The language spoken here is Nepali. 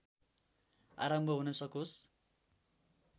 आरम्भ हुन सकोस्